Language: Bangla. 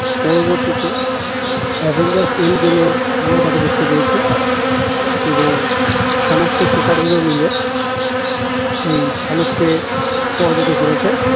পরবর্তীতে avengers end game এ আমরা তাকে দেখতে পেয়েছি এবং সমস্ত superhero মিলে এই থেনসকে পরাজিত করেছে